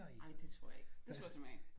Ej det tror jeg ikke det tror jeg simpelthen ikke